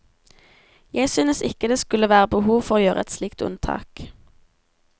Jeg synes ikke det skulle være behov for å gjøre et slikt unntak.